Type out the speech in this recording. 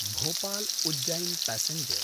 भोपाल्–उज्जैन् passenger